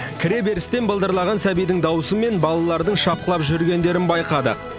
кіре берістен былдырлаған сәбидің дауысы мен балалардың шапқылап жүргендерін байқадық